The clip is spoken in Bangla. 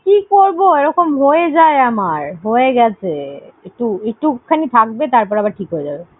আরে, কি করবো ওরকম হয়েযায় আমার। হয়েগেছে। একটু~ একটুখানি থাকবে তারপরে আবার ঠিক হয়েযাবে।